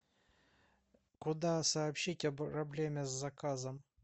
куда сообщить о проблеме с заказом